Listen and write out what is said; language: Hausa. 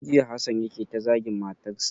Tun jiya Hassan yake ta zagin matan sa.